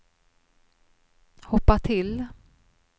hoppa till